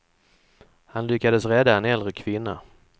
Han lyckades rädda en äldre kvinna.